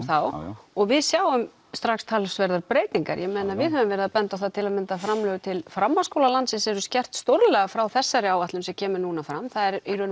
þá og við sjáum strax talsverðar breytingar ég meina við höfum verið að benda á það til að mynda að framlög til framhaldsskóla landsins eru skert stórlega frá þessari áætlun sem kemur núna fram það er í raun